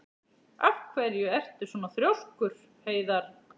Af hverju ertu svona þrjóskur, Heiðarr?